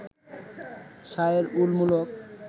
শায়ের উল মুলক